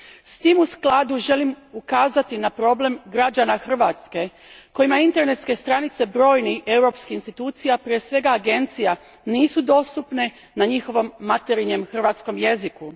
S tim u skladu želim ukazati na problem građana Hrvatske, kojima internetske stranice brojnih europskih institucija, prije svega agencija, nisu dostupne na njihovom materinjem hrvatskom jeziku.